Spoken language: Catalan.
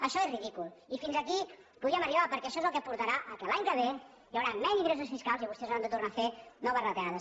això és ridícul i fins aquí podíem arribar perquè això és el que portarà que l’any que ve hi haurà menys ingressos fiscals i vostès hauran de tornar a fer noves retallades